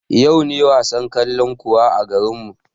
Yau ne wasan kalankuwa a garinmu